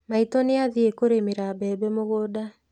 Maitũ nĩ athiĩ kũrĩmĩra mbembe mũgũnda.